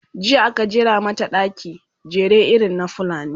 jiya aka jera mata ɗaki, jere irin na fulani